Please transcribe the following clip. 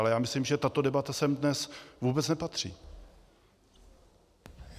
Ale já myslím, že tato debata sem dnes vůbec nepatří.